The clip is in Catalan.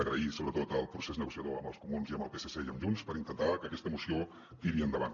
agrair sobretot el procés negociador amb els comuns i amb el psc i amb junts per intentar que aquesta moció tiri endavant